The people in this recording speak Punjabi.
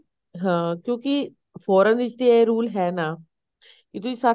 ਹਾਂ ਕਿਉਂਕਿ foreign ਵਿੱਚ ਤਾਂ ਇਹ rule ਹੈ ਨਾ ਕੀ ਤੁਸੀਂ ਸੱਤ